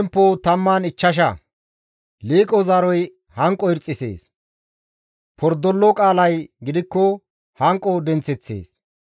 Liiqo zaaroy hanqo irxxisees; pordolo qaalay gidikko hanqo denththeththees.